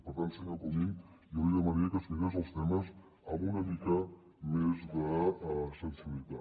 per tant senyor comín jo li demanaria que es mirés els temes amb una mica més de sensibilitat